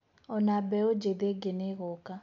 ona mbeũ jĩthĩ ĩngĩ nĩgũka.